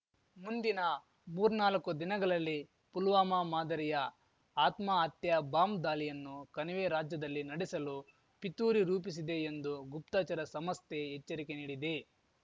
ಮುಂದಿನ ಮುರ್ನಾಲ್ಕು ದಿನಗಳಲ್ಲಿ ಪುಲ್ವಾಮಾ ಮಾದರಿಯ ಆತ್ಮಹತ್ಯಾ ಬಾಂಬ್ ದಾಲಿಯನ್ನು ಕಣಿವೆ ರಾಜ್ಯದಲ್ಲಿ ನಡೆಸಲು ಪಿತೂರಿ ರೂಪಿಸಿದೆ ಎಂದು ಗುಪ್ತಚರ ಸಮಸ್ತೆ ಎಚ್ಚರಿಕೆ ನೀಡಿದೆ